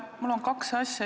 Mul on kaks asja.